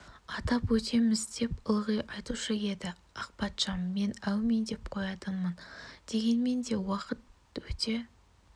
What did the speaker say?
атап өтеміз деп ылғи айтушы еді ақпатшам мен әумин деп қоятынмын дегенмен де уақыт өте